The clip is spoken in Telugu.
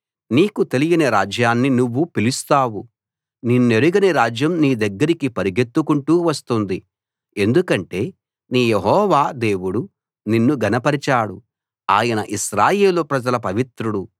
నీకు తెలియని రాజ్యాన్ని నువ్వు పిలుస్తావు నిన్నెరుగని రాజ్యం నీదగ్గరికి పరుగెత్తుకుంటూ వస్తుంది ఎందుకంటే నీ యెహోవా దేవుడు నిన్ను ఘనపరచాడు ఆయన ఇశ్రాయేలు ప్రజల పవిత్రుడు